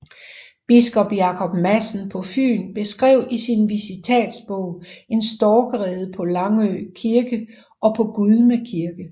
Biskop Jacob Madsen på Fyn beskrev i sin visitatsbog en storkerede på Langå Kirke og på Gudme Kirke